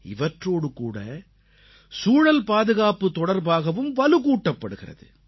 இவற்றோடுகூட சூழல்பாதுகாப்பு தொடர்பாகவும் வலுகூட்டப்படுகிறது